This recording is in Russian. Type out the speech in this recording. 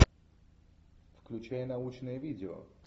включай научное видео